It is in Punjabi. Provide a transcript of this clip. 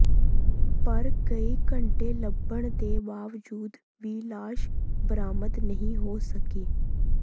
ਪਰ ਕਈ ਘੰਟੇ ਲੱਭਣ ਦੇ ਬਾਵਜੂਦ ਵੀ ਲਾਸ਼ ਬਰਾਮਦ ਨਹੀਂ ਹੋ ਸਕੀ